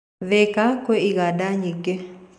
Thĩĩka kwĩ iganda nyingĩ